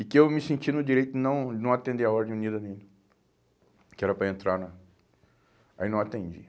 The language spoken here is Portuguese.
e que eu me senti no direito de não não atender a ordem unida dele, que era para entrar na... Aí não atendi.